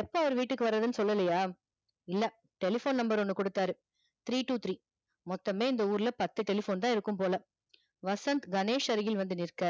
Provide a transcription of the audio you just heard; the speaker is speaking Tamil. இப்போ அவர் வீட்டுக்கு வரதுன்னு சொல்லலையா இல்ல telephone number ஒன்னு குடுத்தாரு three two three மொத்தமே இந்த ஊர்ல பத்து telephone தா இருக்கும் போல வசந்த் கணேஷ் அருகில் வந்து நிற்க